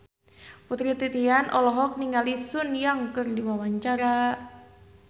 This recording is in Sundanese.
Putri Titian olohok ningali Sun Yang keur diwawancara